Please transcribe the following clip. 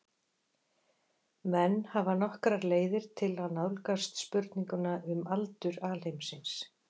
Menn hafa nokkrar fleiri leiðir til að nálgast spurninguna um aldur alheimsins.